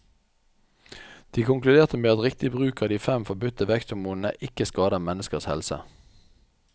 De konkluderte med at riktig bruk av de fem forbudte veksthormonene ikke skader menneskers helse.